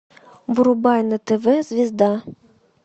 врубай на тв звезда